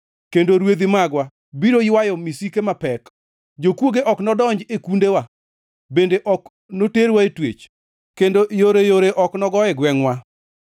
kendo rwedhi magwa biro ywayo misike mapek. Jokwoge ok nodonj e kundewa, bende ok noterwa e twech, kendo yoreyore ok nogo e gwengʼwa.